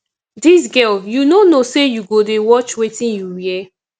dis girl you no know say you go dey watch wetin you wear